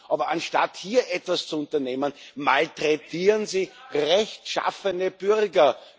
Aber anstatt hier etwas zu unternehmen, malträtieren Sie rechtschaffene Bürger.